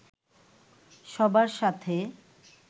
সবার সাথে